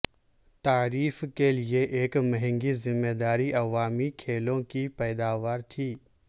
تعریف کے لئے ایک مہنگی ذمہ داری عوامی کھیلوں کی پیداوار تھی